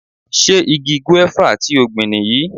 Ṣé igi gúéfà ti o gbìn nìyí?